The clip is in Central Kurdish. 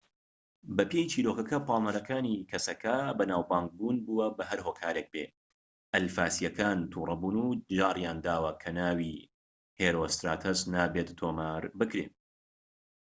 بەپێی چیرۆکەکە پاڵنەرەکانی کەسەکە بەناوبانگ بوون بووە بە هەر هۆکارێك بێت ئەلفاسیەکان تووڕەبوون و جاریانداوە کە ناوی هێرۆستراتەس نابێت تۆمار بکرێت